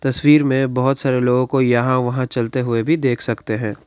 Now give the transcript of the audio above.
तस्वीर में बहुत सारे लोगों को यहां वहां चलते हुए भी देख सकते हैं।